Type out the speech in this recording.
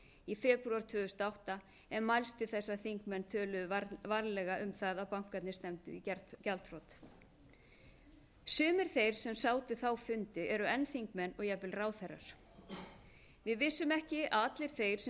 í febrúar tvö þúsund og átta en mælst til þess að þingmenn töluðu varlega um að bankarnir stefndu í gjaldþrot sumir þeir sem sátu þá fundi eru enn þingmenn og jafnvel ráðherrar við vissum ekki að allir þeir sem